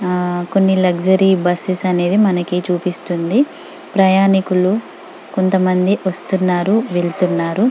ఆహ్ కొన్ని luxury buses అనేది మనకు చూపిస్తుంది ప్రయాణికులు కొంత మంది వస్తున్నారు వెళ్తునాన్రు.